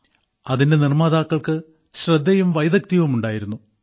അതിന്റെ നിർമ്മാതാക്കൾക്ക് ശ്രദ്ധയും വൈദഗ്ധ്യവും ഉണ്ടായിരുന്നു